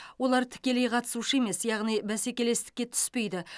олар тікелей қатысушы емес яғни бәсекелестікке түспейді